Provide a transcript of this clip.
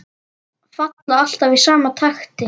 Falla alltaf í sama takti.